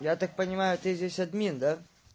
я так понимаю ты здесь админ да